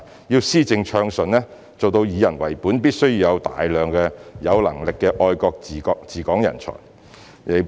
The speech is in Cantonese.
要施政暢順，做到以人為本，必須有大量有能力的愛國治港人才。